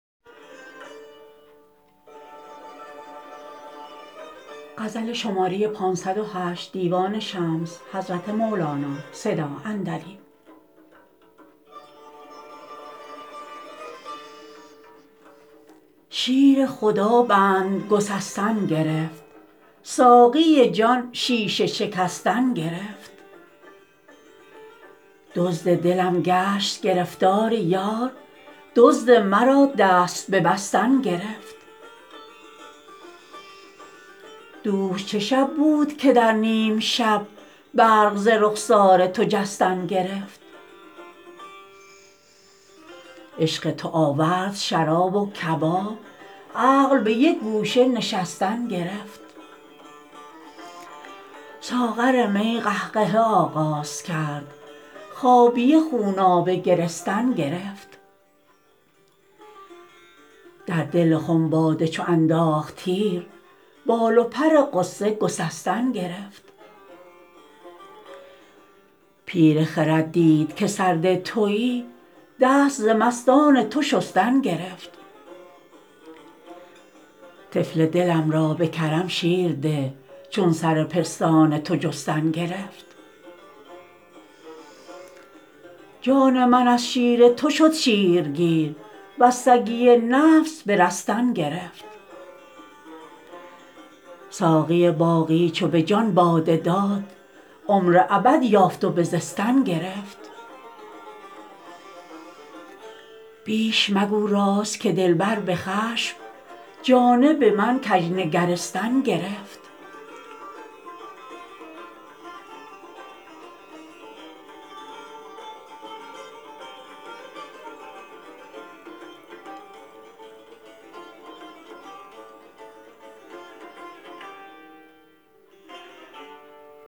شیر خدا بند گسستن گرفت ساقی جان شیشه شکستن گرفت دزد دلم گشت گرفتار یار دزد مرا دست ببستن گرفت دوش چه شب بود که در نیم شب برق ز رخسار تو جستن گرفت عشق تو آورد شراب و کباب عقل به یک گوشه نشستن گرفت ساغر می قهقهه آغاز کرد خابیه خونابه گرستن گرفت در دل خم باده چو انداخت تیر بال و پر غصه گسستن گرفت پیر خرد دید که سرده توی دست ز مستان تو شستن گرفت طفل دلم را به کرم شیر ده چون سر پستان تو جستن گرفت جان من از شیر تو شد شیرگیر وز سگی نفس برستن گرفت ساقی باقی چو به جان باده داد عمر ابد یافت و بزستن گرفت بیش مگو راز که دلبر به خشم جانب من کژ نگرستن گرفت